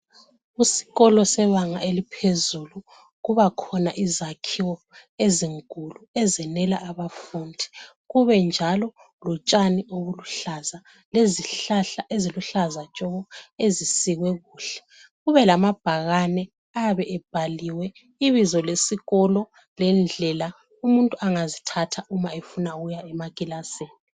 Isikolo sebanga eliphezulu, kubakhona izakhiwo ezinkulu ezenela abafundi. Kube njalo kotshani obuluhlaza lezihlahla eziluhlaza ntshoko. Ezisikwe kuhle kube lamabhakane ayabe bhaliwe ibizo lesikolo lendlela umuntu angazithatha uma efukuya emakilasini.